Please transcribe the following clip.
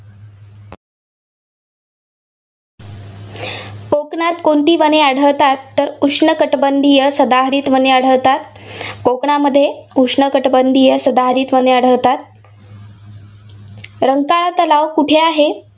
कोकणात कोणती वने आढळतात. तर उष्णकठिबंधीय सदाहरित वने आढळतात. कोकणामध्ये उष्णकटिबंधीय सदाहरित वने आढळतात. रंकाळा तलाव कुठे आहे?